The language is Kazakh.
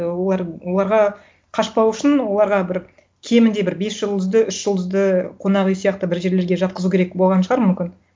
ы оларға қашпау үшін оларға бір кемінде бір бес жұлдызды үш жұлдызды қонақ үй сияқты бір жерлерге жатқызу керек болған шығар мүмкін